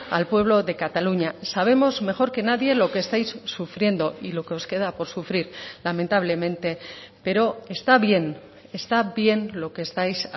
al pueblo de cataluña sabemos mejor que nadie lo que estáis sufriendo y lo que os queda por sufrir lamentablemente pero está bien está bien lo que estáis